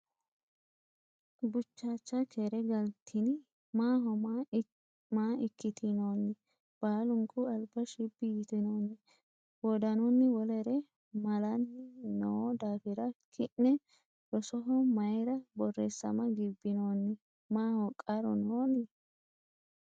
Buchaacha keere galtinni? Maaho ma ikkitinoonni? Baalunku alba shibbi yitinoonni? Wodanunni wolere malanni no daafira Ki’ne rosoho mayra borreessama gibbinoonni? Maaho qarru nooni?